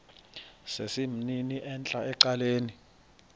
sesimnini entla ecaleni